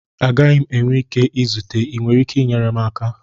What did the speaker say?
Agaghị m enwe ike izute, ị nwere ike inyere m aka?